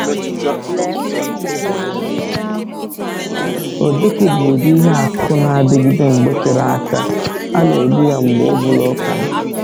Ojoko bụ ụdị ihe akụkụ na-adịgide mgbe tere aka, a na-egbu ya mgbe ọbụla ọ kara